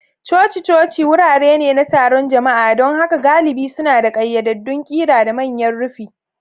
Coci-coci wurare ne na taron jama'a, don haka galibi suna da ƙayyadaddun ƙira da manyan rufi.